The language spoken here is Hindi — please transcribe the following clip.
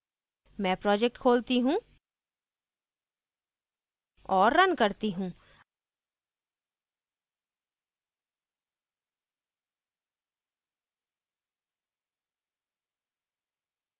मैं project खोलती हूँ और रन करती हूँ